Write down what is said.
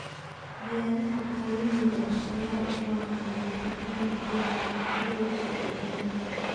Beeraha caalamiga ah ayaa u badan dhoofinta badarka, hilibka iyo caanaha.